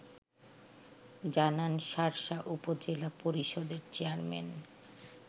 জানান শার্শা উপজেলা পরিষদের চেয়ারম্যান